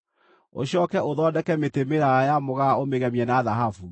Ũcooke ũthondeke mĩtĩ mĩraaya ya mũgaa ũmĩgemie na thahabu.